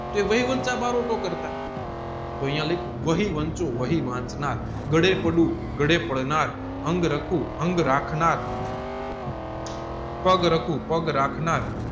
તે વહીવંશ કરતા તોહ અહીંયા લેખું વહીવંશો વહી વાંચનાર ગાળે પડવું ગાળે પાડનાર અંગરખું અંગ રાખનાર પગરખું પગ રાખનાર